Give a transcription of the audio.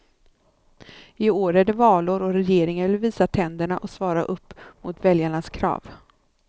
I år är det valår och regeringen vill visa tänderna och svara upp mot väljarnas krav.